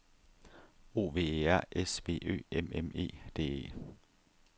O V E R S V Ø M M E D E